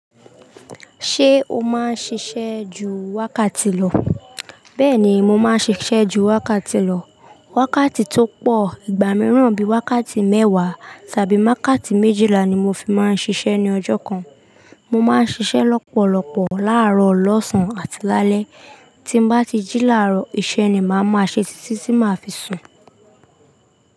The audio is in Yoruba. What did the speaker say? Ṣé o máa ń ṣiṣẹ́ ju wákàtí lọ? Bẹ́ẹ̀ni, mo máa ń ṣiṣẹ́ ju wákàtí lọ. Wákàtí tó pọ̀ ìgbà míràn bíi wákàtí mẹ́wàá tàbí wákàtí méjìlá ni mo fi máa ń ṣiṣẹ́ ní ọjọ́ kan. Mo máa ń ṣiṣẹ́ lọ́pọ̀lọpọ̀ láàárọ̀, lọ́sàn-án àti lálẹ́. Tí ń bá ti jí láàárọ̀, iṣẹ́ ni màá máa ṣe títí tí màá fi sùn.